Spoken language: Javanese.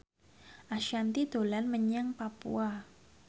Ashanti dolan menyang Papua